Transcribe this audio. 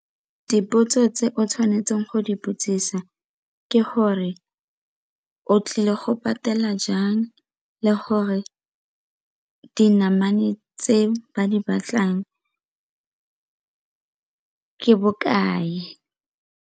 Dipotso tse o tshwanetseng go di botsisa ke gore o tlile go patela jang le gore dinamane tse ba di batlang ke bokae.